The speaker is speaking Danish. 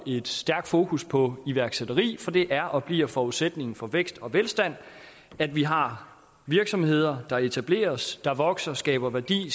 et stærkt fokus på iværksætteri for det er og bliver forudsætningen for vækst og velstand at vi har virksomheder der etableres vokser og skaber værdi